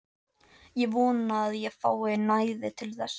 Ég vona að ég fái næði til þess.